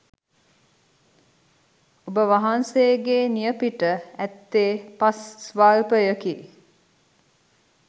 ඔබ වහන්සේගේ නියපිට ඇත්තේ පස් ස්වල්පයකි.